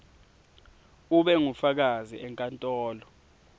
ube ngufakazi enkantolo